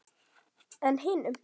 En hinum?